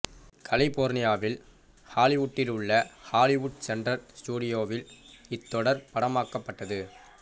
கலிபோர்னியாவின் ஹாலிவுட்டில் உள்ள Hollywood centre ஸ்டுடியோஸில் இத்தொடர் படமாக்கப்பட்டது